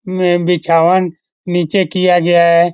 उमे बिछावन नीचे किया गया है।